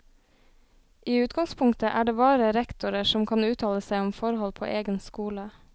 I utgangspunktet er det bare rektorer som kan uttale seg om forhold på egen skole.